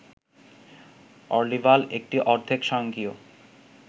অর্লিভাল একটি অর্ধেক স্বয়ংক্রিয়